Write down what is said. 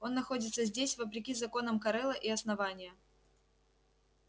он находится здесь вопреки законам корела и основания